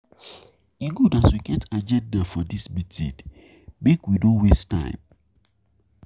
E good as we get agenda for dis meeting, make we no waste time.